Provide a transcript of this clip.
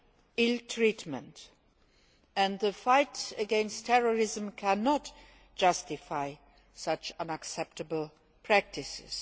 and ill treatment. The fight against terrorism cannot justify such unacceptable practices.